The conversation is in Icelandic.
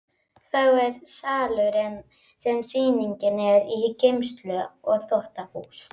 Þá er salurinn sem sýningin er í, geymsla og þvottahús.